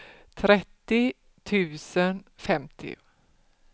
trettio tusen femtio